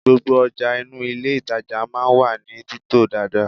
Gbogbo ọjà inú ilé ìtàjà máa ń wà ní títò dáadáa.